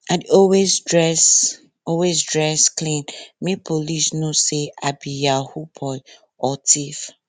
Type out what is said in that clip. i dey always dress always dress clean make police no say i be yahoo boy or thief